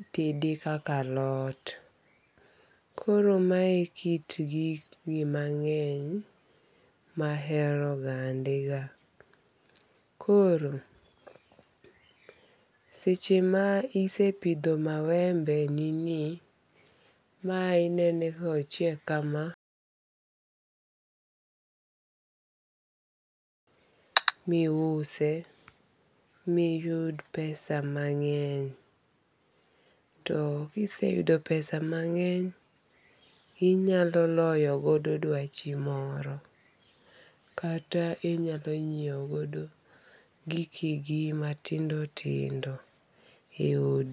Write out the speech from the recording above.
Itede kaka alot. Koro mae kit gini mang'eny mahero gande ga. Koro seche ma isepidho mawembe ni ni ma inene ka ochiek kama miuse miyud pesa mang'eny. To kise yudo pesa mang'eny, inyalo loyo godo duachi moro. Kata inyalo nyiew godo gikigi matindo tindo e odi.